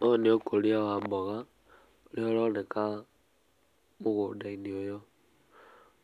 Ũyũ nĩ ũkũria wa mboga nĩ ũroneka mũgũnda inĩ ũyũ